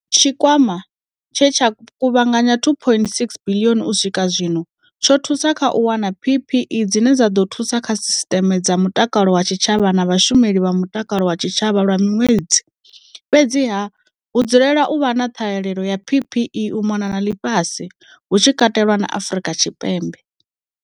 Tshikwama, tshe tsha kuvhanganya R2.61 biḽioni u swika zwino, tsho thusa kha u wana PPE dzine dza ḓo thusa kha sisiṱeme dza mutakalo wa tshitshavha na vhashumeli vha mutakalo wa tshitshavha lwa miṅwedzi Fhedziha, hu dzulela u vha na ṱhahelelo ya PPE u mona na ḽifhasi, hu tshi katelwa na Afrika Tshipembe.